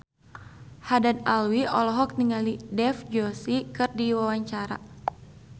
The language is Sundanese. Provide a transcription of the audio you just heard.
Haddad Alwi olohok ningali Dev Joshi keur diwawancara